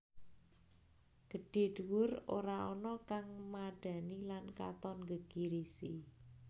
Gedhé dhuwur ora ana kang madhani lan katon nggegirisi